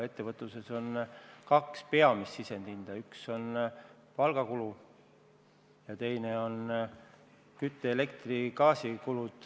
Ettevõtluses on kaks peamist sisendi hinda: üks on palgakulu ning teine on kütte-, elektri- ja gaasikulu.